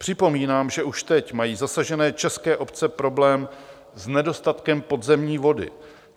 Připomínám, že už teď mají zasažené české obce problém s nedostatkem podzemní vody.